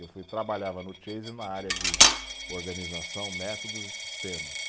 Eu fui, trabalhava no Chase na área de organização, métodos e sistemas.